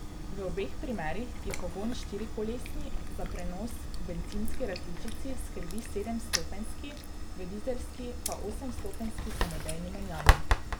V obeh primerih je pogon štirikolesni, za prenos v bencinski različici skrbi sedemstopenjski, v dizelski pa osemstopenjski samodejni menjalnik.